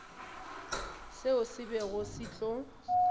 seo se bego se tlo